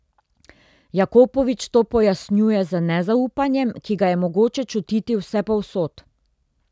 Jakopovič to pojasnjuje z nezaupanjem, ki ga je mogoče čutiti vsepovsod.